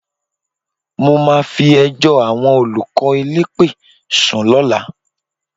Mo máa fi ẹjọ́ àwọn olùkọ́ elépè sùn lọ́la